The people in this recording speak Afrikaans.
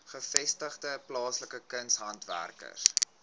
gevestigde plaaslike kunshandwerkers